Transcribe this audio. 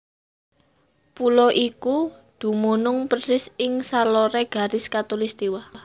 Pulo iku dumunung persis ing saloré garis katulistiwa